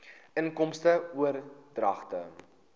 inkomste oordragte